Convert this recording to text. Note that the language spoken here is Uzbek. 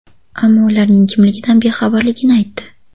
Ammo ularning kimligidan bexabarligini aytdi.